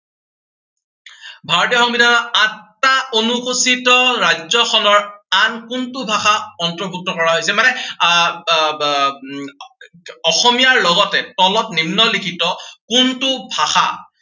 ভাৰতীয় সংবিধানৰ আঠটা অনুসূচীত ৰাজ্য়খনৰ আন কোনটো ভাষা অৰ্ন্তভুক্ত কৰা হৈছিল। মানে আহ আহ আহ উম অসমীয়াৰ লগতে তলত নিম্নলিখিত কোনটো ভাষা